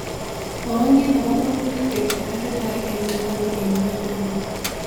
Mwawon kiit ne pokwoong'ut kwet netesetai eng'nguni eng' ngwonduni